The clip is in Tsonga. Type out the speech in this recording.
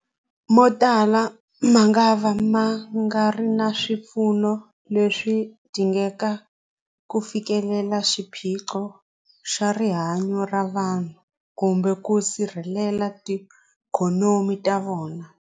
Motala mangava ma nga ri na swipfuno leswi dingekaka ku fikelela xiphiqo xa rihanyu ra vanhu kumbe ku sirhelela tiikhonomi ta vona.